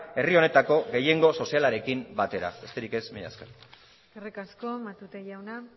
herri honetako gehiengo sozialarekin batera besterik ez mila esker eskerrik asko matute jauna